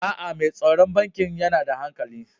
Aa, Mai tsaron bankin yana da hankali.